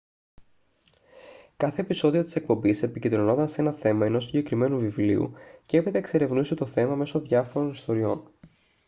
κάθε επεισόδιο της εκπομπής επικεντρωνόταν σε ένα θέμα ενός συγκεκριμένου βιβλίου και έπειτα εξερευνούσε το θέμα μέσω διάφορων ιστοριών